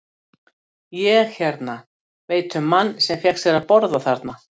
Ég hérna. ég veit um mann sem fékk sér að borða þarna.